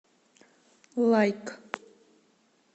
лайк